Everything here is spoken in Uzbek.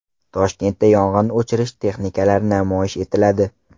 Toshkentda yong‘in o‘chirish texnikalari namoyish etiladi.